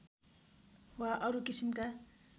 वा अरू किसिमका